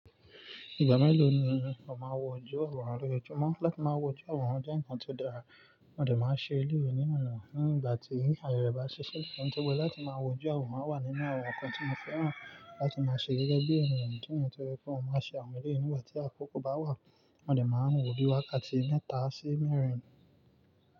Ìgbà mélòó ni ó máa wọ jú ọ̀rùn rẹ lojojumọ́ láti máa wọ jú ọ̀rùn jẹ́ ǹkan tó dára, wọ́n ò lè máa ṣe ìlú yìí ní ọ̀nà náà nígbà tí ayẹyẹ bá ṣíṣe. Nítorí pé láti máa wọ jú ọ̀rùn máa wà nínú àwọn ǹkan tí mo fẹ́ràn láti máa ṣe gẹ́gẹ́ bí ènìyàn nítorí pé òun máa ṣe àwọn ìdílé nígbà tí àkókò bá wà, wọ́n ò lè máa wò bí wákàtí mẹ́ta sí mẹ́rin.